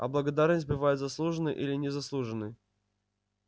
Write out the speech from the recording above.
а благодарность бывает заслуженной или незаслуженной